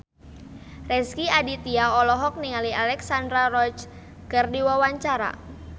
Rezky Aditya olohok ningali Alexandra Roach keur diwawancara